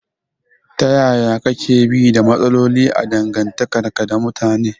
Ta yaya kake bi da matsaloli a dangantakarka da mutane?